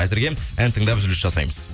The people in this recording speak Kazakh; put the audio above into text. әзірге ән тыңдап үзіліс жасаймыз